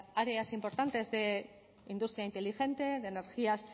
áreas importantes de la industria inteligente de energías